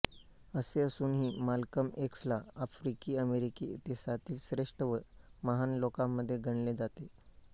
असे असूनही माल्कम एक्सला आफ्रिकीअमेरिकी इतिहासातील श्रेष्ठ व महान लोकांमध्ये गणले जाते